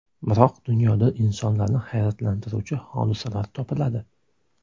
Biroq dunyoda insonlarni hayratlantiruvchi hodisalar topiladi.